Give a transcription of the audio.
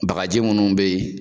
Bagaji minnu bɛ yen